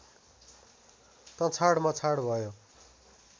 तँछाड मछाड भयो